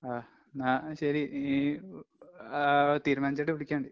ആഹ് ന്നാ ശെരി. നീ ആഹ് തീരുമാനിച്ചിട്ട് വിളിക്കങ്ങിട്.